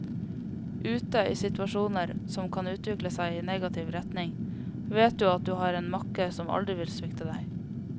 Ute, i situasjoner som kan utvikle seg i negativ retning, vet du at du har en makker som aldri vil svikte deg.